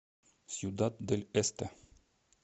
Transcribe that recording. сьюдад дель эсте